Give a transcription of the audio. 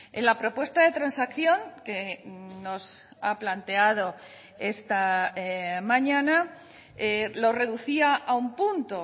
en la propuesta de transacción que nos ha planteado esta mañana lo reducía a un punto